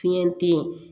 Fiɲɛ te ye